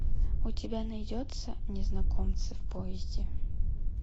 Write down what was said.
у тебя найдется незнакомцы в поезде